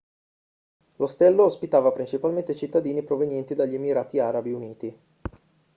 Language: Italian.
l'ostello ospitava principalmente cittadini provenienti dagli emirati arabi uniti